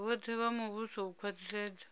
vhoṱhe vha muvhuso u khwaṱhisedza